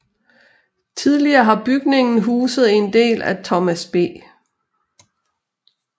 Tidligere har bygningen huset en del af Thomas B